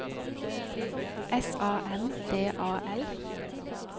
S A M D A L